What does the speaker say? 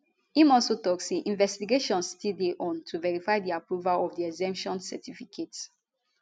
im also tok say investigations still dey go on to verify di approval of di exemption certificate